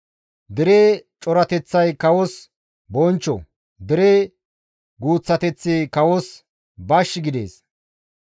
Dere corateththay kawos bonchcho; dere guuththateththi kawos bash gidees.